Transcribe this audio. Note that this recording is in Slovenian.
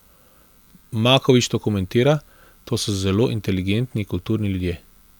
Maković to komentira: 'To so zelo inteligentni, kulturni ljudje.